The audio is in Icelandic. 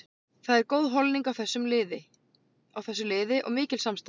Það er góð holning á þessu liði og mikil samstaða.